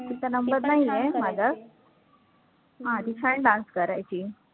तिचा number नाहीये माझा हा ती छान dance करायची.